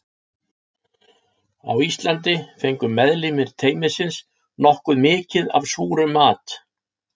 Á Íslandi fengu meðlimir teymisins nokkuð mikið af súrum mat.